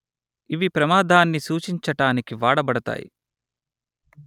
ఇవి ప్రమాదాన్ని సూచించటానికి వాడబడతాయి